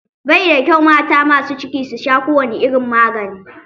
Baida kyau mata masu ciki su sha kowane irin magani.